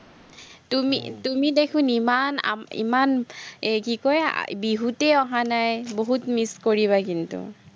তুমি তুমি দেখোন ইমান আহ ইমান এৰ কি কয়, বিহুতেই অহা নাই, বহুত miss কৰিবা কিন্তু